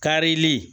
Karili